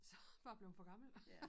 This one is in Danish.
Så bare blevet for gammel